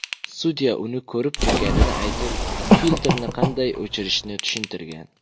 Sudya uni ko‘rib turganini aytib, filtrni qanday o‘chirishni tushuntirgan.